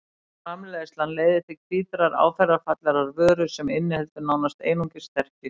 Framleiðslan leiðir til hvítrar áferðarfallegrar vöru sem inniheldur nánast einungis sterkju.